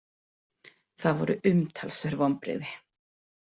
Það voru umtalsverð vonbrigði.